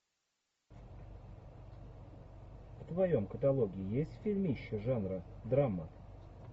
в твоем каталоге есть фильмище жанра драма